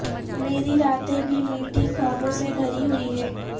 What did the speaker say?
میری راتیں بھی میٹھی خوابوں سے بھری ہوئی ہیں